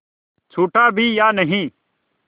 छूटा भी या नहीं